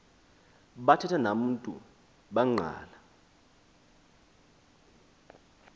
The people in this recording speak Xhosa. bathetha namntu bangqala